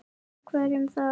Og hverjum þá?